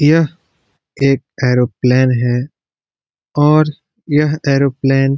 यह एक एरोप्लेन है और यह एरोप्लेन --